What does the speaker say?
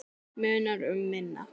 Munar um minna.